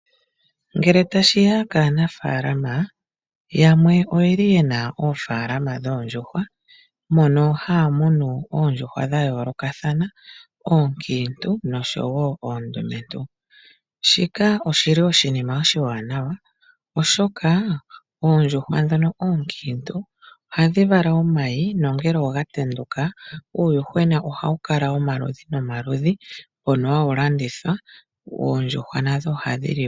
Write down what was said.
Ngele tashi ya kaanafaalama . Yamwe oyeli yena oofaalama dhoondjuhwa , mono haya munu oondjuhwa dhayoolokathana oonkiintu noshowoo oondumentu. Shika oshili oshinima oshiwanawa oshoka oondjuhwa ndhono oonkiintu ohadhi vala omayi, nongele gatendulwa uuyuhwena ohawu kala womaludhi nomaludhi. Ohawu vulu okulandithwa.